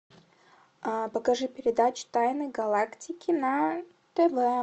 покажи передачу тайны галактики на тв